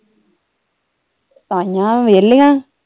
ਤਾਈਂਆ ਵੇਹਲੀਆਂ।